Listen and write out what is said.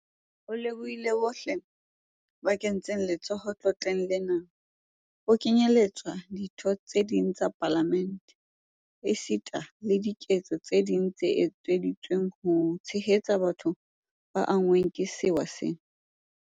O lebohile bohle ba kentseng letsoho letloleng lena, ho kenyeletswa ditho tse ding tsa Palamente, esita le diketso tse ding tse etseditsweng ho tshehetsa batho ba anngweng ke sewa sena.